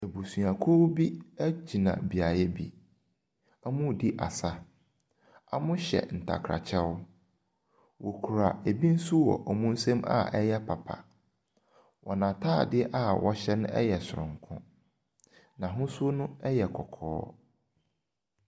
Abusuakuo bi gyina beaeɛ bi. Wɔredi asa. Whyɛ ntakrakyɛ. Wɔkura bi nso wɔ wɔn nsam a ɛyɛ papa. Wɔn atadeɛ ɛ wɔhyɛ no yɛ sononko. N'ahosuo no yɛ kɔkɔɔ.